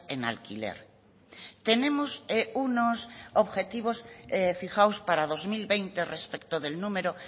en alquiler tenemos unos objetivos fijados para dos mil veinte respecto del número